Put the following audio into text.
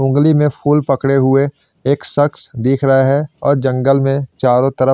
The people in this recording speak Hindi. ऊँगली में फुल पकड़े हुए एक शक्स दिख रहे है और जंगल में चारो तरफ--